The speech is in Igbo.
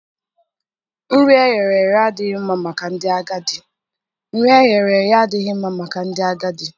Nri e ghere eghe adịghị mma maka ndị agadi.